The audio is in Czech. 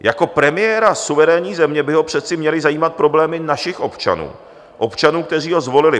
Jako premiéra suverénní země by ho přece měly zajímat problémy našich občanů, občanů, kteří ho zvolili.